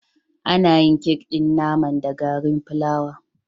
Ana yin kek ɗin naman da garin fulawa